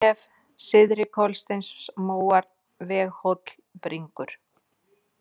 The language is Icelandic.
Kuldanef, Syðri-Kolsteinsmóar, Veghóll, Bringrur